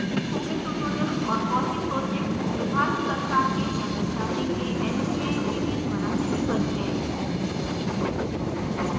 spoken tutorial और fossee projects Bharat सरकार के mhrd के nmeict द्वारा निधिबद्ध हैं